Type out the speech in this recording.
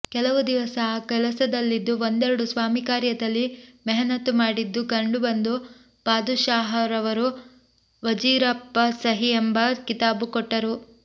ಕೆಲವು ದಿವಸ ಆ ಕೆಲಸದಲ್ಲಿದ್ದು ಒಂದೆರಡು ಸ್ವಾಮಿಕಾರ್ಯದಲ್ಲಿ ಮೆಹನತ್ತು ಮಾಡಿದ್ದು ಕಂಡುಬಂದು ಪಾದುಷಾಹರವರು ವಜೀರಪ್ಪಸಹಿ ಎಂಬ ಕಿತಾಬು ಕೊಟ್ಟರು